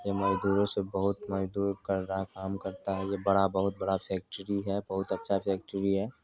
ये मजदूर सब बहोत मजदूर कर रहा काम करता है ये बड़ा बहोत बड़ा फैक्ट्री है बहोत अच्छा फैक्ट्री है।